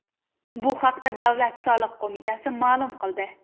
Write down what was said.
Bu haqda Davlat soliq qo‘mitasi ma’lum qildi .